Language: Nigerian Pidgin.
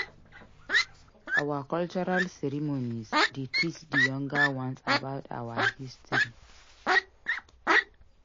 Our cultural ceremonies dey teach di younger ones about our history.